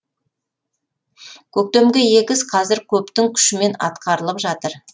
көктемгі егіс қазір көптің күшімен атқарылып жатыр